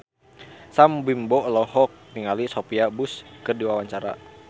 Sam Bimbo olohok ningali Sophia Bush keur diwawancara